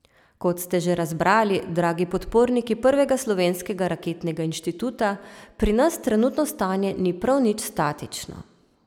Kot ste že razbrali, dragi podporniki prvega slovenskega raketnega inštituta, pri nas trenutno stanje ni prav nič statično.